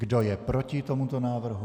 Kdo je proti tomuto návrhu?